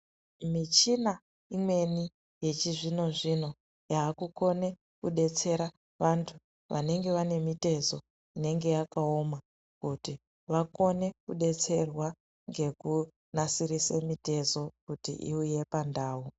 Mishina imweni yechizvino zvino yaakukone kubetsera vantu vanenge vane mitezo inenge yakaoma kuti vakone kudetserwa ngekunasirise mitezo kuti iuye pandau.